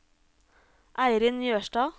Eirin Jørstad